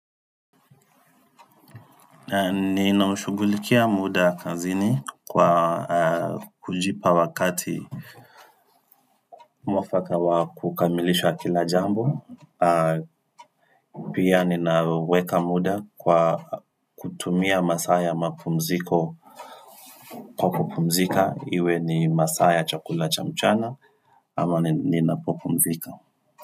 Ninamshugulikia muda kazini kwa kujipa wakati mwafaka wa kukamilisha kila jambo Pia ninaweka muda kwa kutumia masaa ya mapumziko Kwa kupumzika iwe ni masaa ya chakula cha mchana ama ninapopumzika.